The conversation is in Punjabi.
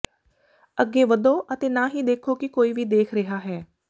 ਅੱਗੇ ਵਧੋ ਅਤੇ ਨਾ ਹੀ ਦੇਖੋ ਕਿ ਕੋਈ ਵੀ ਦੇਖ ਰਿਹਾ ਹੈ